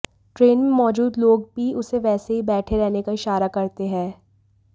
train में मौजूद लोग भी उसे वैसे ही बैठे रहने का इशारा करते हैं